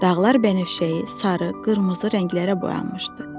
Dağlar bənövşəyi, sarı, qırmızı rənglərə boyanmışdı.